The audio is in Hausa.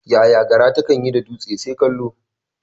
Yaya gara takan yi da dutse? Sai kallo.